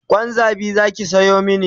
Kwan zabi Zaki Sayo mani